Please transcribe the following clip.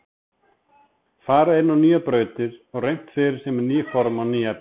Farið inn á nýjar brautir og reynt fyrir sér með ný form og ný efni.